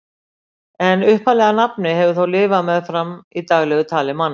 En upphaflega nafnið hefur þó lifað meðfram í daglegu tali manna.